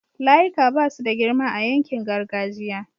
layika Basu da girma a yankin gargajiya